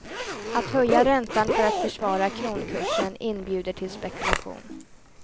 Att höja räntan för att försvara kronkursen inbjuder till spekulation.